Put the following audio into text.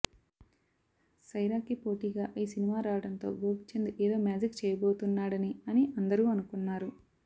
సైరాకి పోటిగా ఈ సినిమా రావడంతో గోపీచంద్ ఎదో మ్యాజిక్ చేయబోతున్నాడని అని అందరు అనుకున్నారు